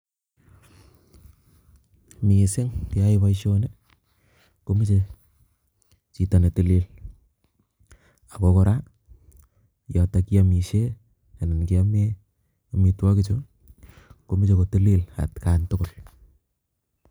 Mising keyoe boishoni komoche chito netilil ak ko kora yotok kiomishe anan kiome omitwokichu komoche kotilil atkai tukul.